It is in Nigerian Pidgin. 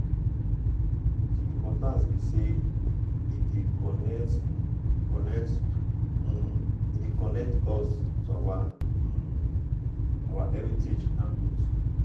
di importance be say e dey um connect um connect um us to um our heritage and roots?